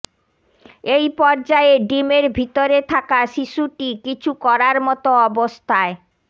এই পর্যায়ে ডিমের ভিতরে থাকা শিশুটি কিছু করার মতো অবস্থায়